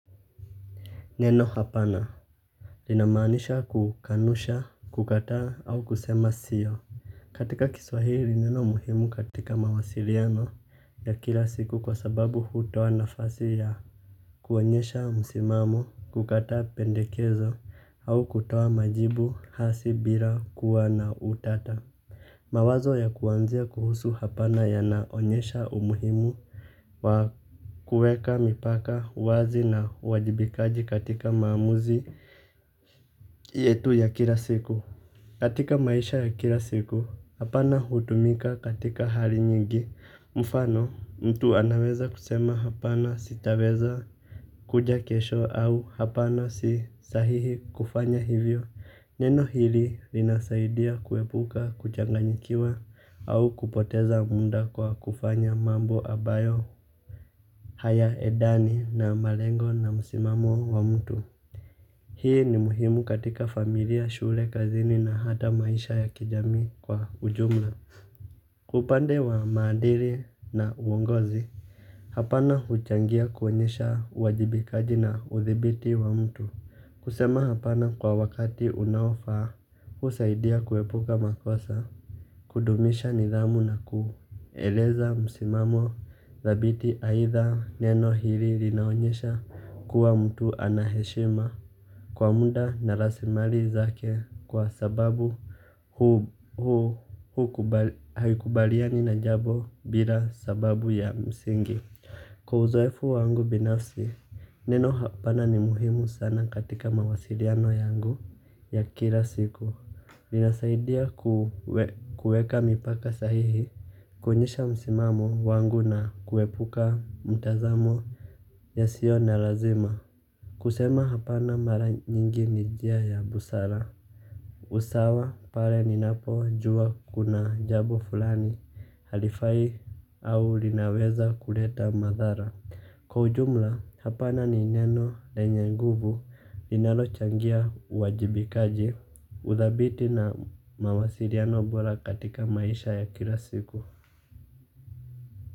Neno hapana linamaanisha kukanusha kukataa au kusema sio. Katika kiswahili neno muhimu katika mawasiliano ya kila siku kwa sababu hutoa nafasi ya kuonyesha msimamo kukataa pendekezo au kutoa majibu hasi bila kuwa na utata. Mawazo ya kuanzia kuhusu hapana ya naonyesha umuhimu wa kueka, mipaka, wazi na uwajibikaji katika maamuzi yetu ya kila siku. Katika maisha ya kila siku, hapana hutumika katika hali nyingi. Mfano, mtu anaweza kusema hapana sitaweza kuja kesho au hapana sisahihi kufanya hivyo. Neno hili linasaidia kuepuka, kuchanganyikiwa au kupoteza munda kwa kufanya mambo abayo haya edani na malengo na musimamo wa mtu. Hii ni muhimu katika familia shule kazini na hata maisha ya kijamii kwa ujumla upande wa maadiri na uongozi. Hapana huchangia kuonyesha uwajibikaji na uthibiti wa mtu. Kusema hapana kwa wakati unaofaa husaidia kuepuka makosa. Kudumisha nidhamu na kueleza msimamo dhabiti aidha neno hili linaonyesha kuwa mtu anaheshima. Kwa munda narasimali zake kwa sababu huu haikubaliani na jabo bila sababu ya msingi. Kwa uzoefu wangu binafsi, neno hapana ni muhimu sana katika mawasiliano yangu ya kila siku. Linasaidia kuweka mipaka sahihi, kuonyesha msimamo wangu na kuepuka mtazamo yasio na lazima. Kusema hapana mara nyingi ni jia ya busara. Usawa pale ni napo jua kuna jabo fulani halifai au linaweza kuleta madhara. Kwa ujumla hapana ni neno lenye nguvu linalochangia uwajibikaji. Udhabiti na mawasiliano bora katika maisha ya kila siku.